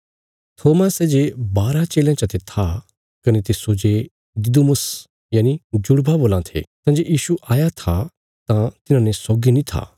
थोमा सै जे बारां चेलयां चते था कने तिस्सो जे दिदुमुस जुड़वा बोलां थे तंजे यीशु आया था तां तिन्हांने सौगी नीं था